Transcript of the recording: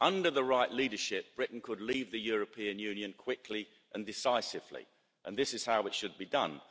Under the right leadership, Britain could leave the European Union quickly and decisively, and this is how it should be done.